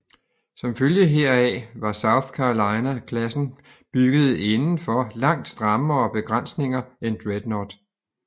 Som følge heraf var South Carolina klassen bygget indenfor langt strammere begrænsninger end Dreadnought